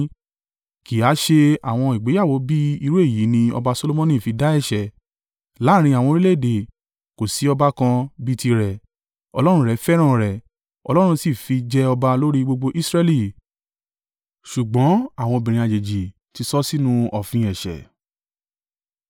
Kì í ha á ṣe àwọn ìgbéyàwó bí irú èyí ni ọba Solomoni fi dá ẹ̀ṣẹ̀? Láàrín àwọn orílẹ̀-èdè, kò sí ọba kan bí i tirẹ̀. Ọlọ́run rẹ̀ fẹ́ràn rẹ̀, Ọlọ́run sì fi jẹ ọba lórí i gbogbo Israẹli, ṣùgbọ́n àwọn obìnrin àjèjì ti sọ ọ́ sínú òfin ẹ̀ṣẹ̀.